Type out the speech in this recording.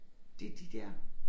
Det de der